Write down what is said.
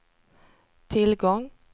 tillgång